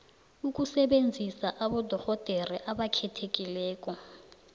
ukusebenzisa abodorhodere abakhethekileko